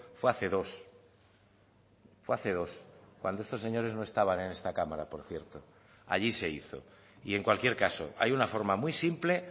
fue hace dos fue hace dos cuando estos señores no estaban en esta cámara por cierto allí se hizo y en cualquier caso hay una forma muy simple